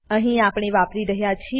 અહીં આપણે વાપરી રહ્યા છીએ